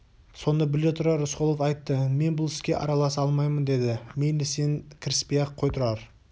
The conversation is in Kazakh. соны біле тұра рысқұлов айтты мен бұл іске араласа алмаймын деді мейлі сен кіріспей-ақ қой тұрар